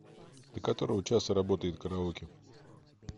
до которого часа работает караоке